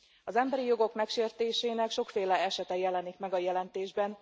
Az emberi jogok megsértésének sokféle esete jelenik meg a jelentésben.